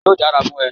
Yóò dáa fún e